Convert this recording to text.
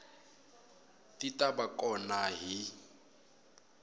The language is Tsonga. ti ta va kona hi